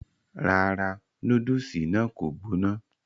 rárá, núdùsì náà kò gbóná